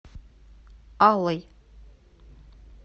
аллой